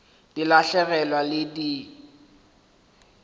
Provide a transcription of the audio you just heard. di lahlegelwa ke phišo di